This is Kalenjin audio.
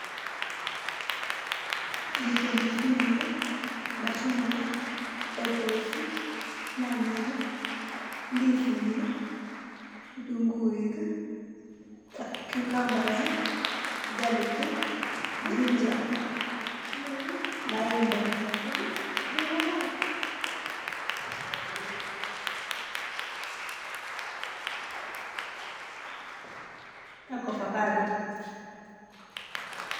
Mitei ndisinik machungwa , apples nyanyek kitunguik ndisinik cucumbers, garlic, ginger maembek ak ovacado